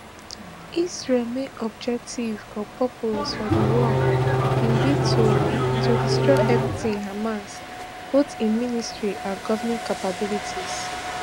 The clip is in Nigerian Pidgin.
israel main objective or purpose for di war bin be to to destroy everytin hamas both im military and governing capabilities